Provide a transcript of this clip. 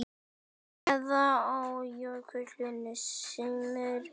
Neðan á kjólnum sómir sér.